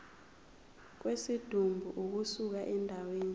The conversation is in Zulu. kwesidumbu ukusuka endaweni